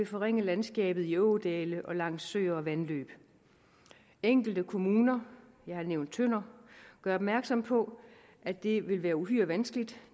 forringe landskabet i ådale og langs søer og vandløb enkelte kommuner jeg har nævnt tønder gør opmærksom på at det vil være uhyre vanskeligt